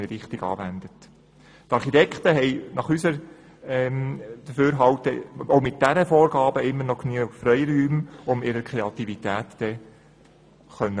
Die Architekten haben nach unserem Dafürhalten auch mit diesen Vorgaben noch immer genügend Freiräume, um ihre Kreativität auszuleben.